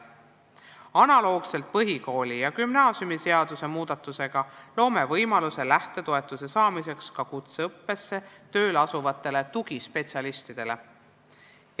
Analoogselt põhikooli- ja gümnaasiumiseaduse muudatusega loome ka kutseõppesse tööle asuvatele tugispetsialistidele võimaluse lähtetoetust saada.